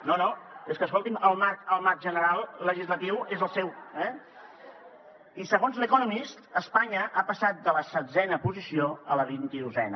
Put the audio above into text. no no és que escolti’m el marc general legislatiu és el seu eh i segons el the economist espanya ha passat de la setzena posició a la vint i dosena